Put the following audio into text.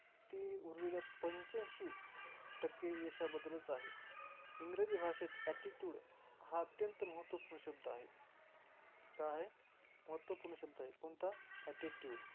ती उरलेल्या पंचाऐंशी टक्के यशाबद्दलच आहे. इंग्रजी भाषेत attitude हा अत्यंत महत्त्वपूर्ण शब्द आहे. काय आहे? महत्त्वपूर्ण शब्द आहे कोणता? attitude